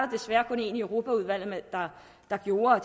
desværre kun én i europaudvalget der gjorde og